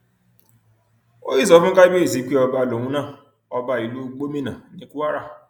ó sì sọ fún kábíyèsí pé ọba lòun náà ọba ìlú gbọmina ní kwara